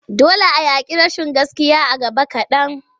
Dole a yaƙi rashin gaskiya a gaba kaɗan.